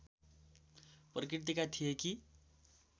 प्रकृतिका थिए कि